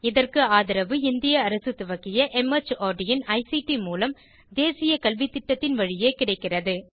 இதற்கு ஆதரவு இந்திய அரசு துவக்கிய மார்ட் இன் ஐசிடி மூலம் தேசிய கல்வித்திட்டத்தின் வழியே கிடைக்கிறது